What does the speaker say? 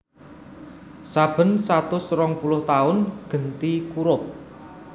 Saben satus rongpuluh taun genti kurup